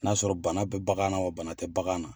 N'a sɔrɔ bana bɛ bagan na wa bana tɛ bagan na.